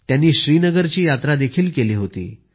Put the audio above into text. त्यांनी श्रीनगरची यात्रा देखील केली होती